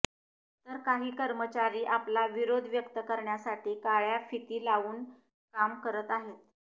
तर काही कर्मचारी आपला विरोध व्यक्त करण्यासाठी काळ्या फिती लावून काम करत आहेत